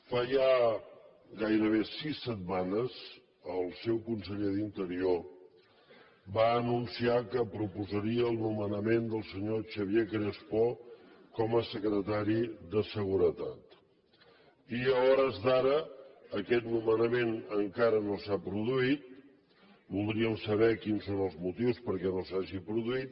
fa ja gairebé sis setmanes el seu conseller d’interior va anunciar que proposaria el nomenament del senyor xavier crespo com a secretari de seguretat i a hores d’ara aquest nomenament encara no s’ha produït voldríem saber quins són els motius perquè no s’hagi produït